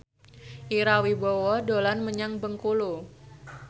Ira Wibowo dolan menyang Bengkulu